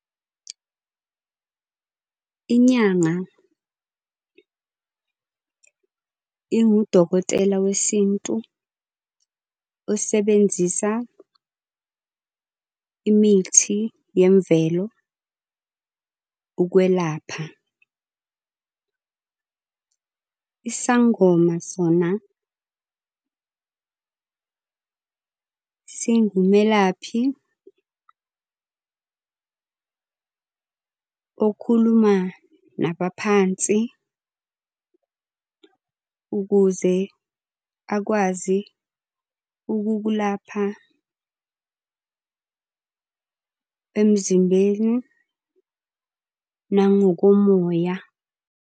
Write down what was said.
Inyanga ingudokotela wesintu osebenzisa imithi yemvelo ukwelapha. Isangoma sona singumelaphi okhuluma nabaphansi ukuze akwazi ukukulapha emzimbeni nangokomoya.